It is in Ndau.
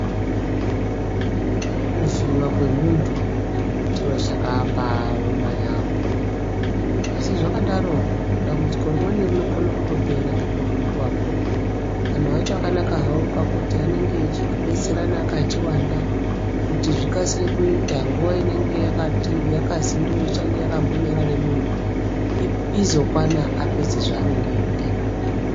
Kuvhiiva kwemuntu chiro chakambaoma yaambo. Asi zvakadaro dambudziko rimweni rinokona kutopera ngekuvhiivako. Antu acho akanaka havo pakuti anenge echibetserana akachiwanda kuti zvikasire kuita nguva inenge yakazi ndoichange yakambo nyarare muntu, izokwana apedze zvaanenge eiitazvo.